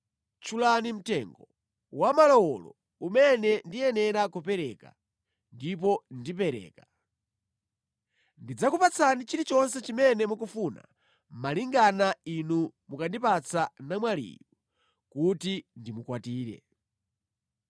Tchulani mtengo wamalowolo umene ndiyenera kupereka, ndipo ndipereka. Ndidzakupatsani chilichonse chimene mukufuna malingana inu mukandipatsa namwaliyu kuti ndimukwatire.”